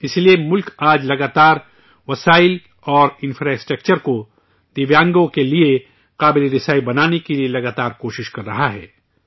اسی لیے، ملک آج کل لگاتار وسائل اور انفراسٹرکچر کو دویانگوں کے لیے آسان بنانے کے لیے لگاتار کوشش کر رہا ہے